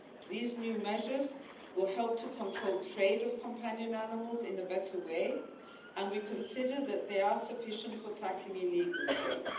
These new measures will help to control trade of companion animals in a better way, and we consider that they are sufficient for tackling illegal